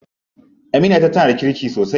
Aminiyata tana da kirki sosai.